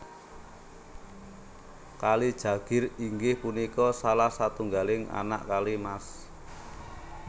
Kali Jagir inggih punika salah satunggaling anak Kali Mas